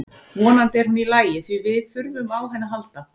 Vonandi er hún í lagi því við þurfum á henni að halda.